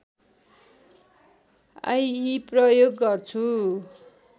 आइइ प्रयोग गर्छु